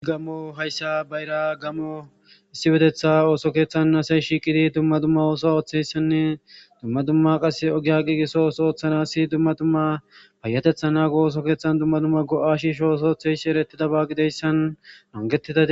gammo hayssa bayra gammo issippetetha ooso keeththan nasey shiiqidi dumma dumma ooso ooththeyssanne dumma dumma qas ogiya qiiqiso ooso ooththanasi dumma dumma payatetha naago ooso keeththan dumma dumma go7ashisho ooso oththesh erettidabaa gideyssan nangettida